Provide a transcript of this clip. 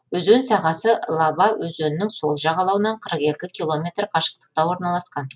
өзен сағасы лаба өзенінің сол жағалауынан қырық екі километр қашықтықта орналасқан